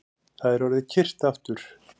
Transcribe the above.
Það er orðið kyrrt aftur